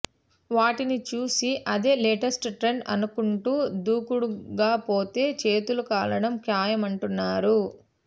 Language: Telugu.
వాటిని చూసి అదే లేటెస్ట్ ట్రెండ్ అనుకుంటూ దూకుడుగాపోతే చేతులు కాలడం ఖాయమంటున్నారు